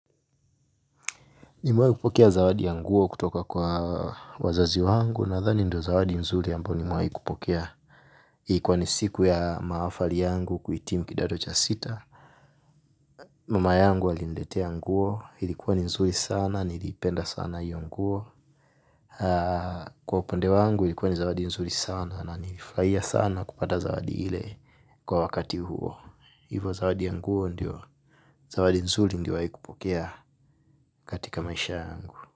Nimewahi kupokea zawadi ya nguo kutoka kwa wazazi wangu nadhani ndio zawadi nzuri ambayo nimewahi kupokea. Ikuwa ni siku ya maafali yangu kuhitimu kidato cha sita. Mama yangu aliniletea nguo ilikuwa ni nzuri sana niliipenda sana hiyo nguo kwa upande wangu ilikuwa ni zawadi nzuri sana na nilifurahia sana kupata zawadi ile kwa wakati huo hivo zawadi ya nguo ndio zawadi nzuri niliyowahi kupokea katika maisha yangu.